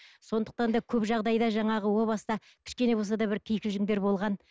сондықтан да көп жағдайда жаңағы о баста кішкене де болса бір кикілжіңдер болған